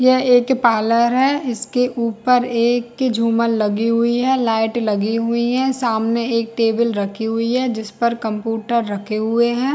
यह एक पार्लर है इसके ऊपर एक झूमर लगी हुई है लाइट लगी हुई है सामने एक टेबल रखी हुई है जिस पर कंप्यूटर रखे हुए है।